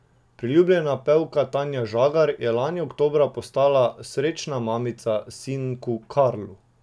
Priljubljena pevka Tanja Žagar je lani oktobra postala srečna mamica sinku Karlu.